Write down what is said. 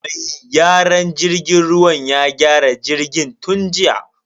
Mai gyaran jirgin ruwan ya gyara jirgin tun jiya.